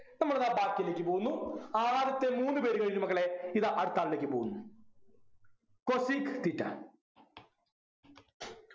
നമ്മളിതാ ബാക്കിയിലേക്ക് പോകുന്നു ആദ്യത്തെ മൂന്നു പേരു കഴിഞ്ഞു മക്കളെ ഇതാ അടുത്ത ആളിലേക്ക് പോകുന്നു cosec theta